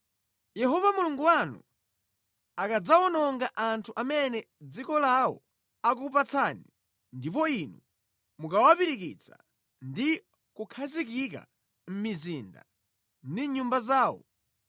Yehova Mulungu wanu akadzawononga anthu amene dziko lawo akukupatsani, ndipo inu mukawapirikitsa ndi kukhazikika mʼmizinda ndi mʼnyumba zawo,